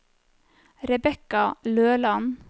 Rebecca Løland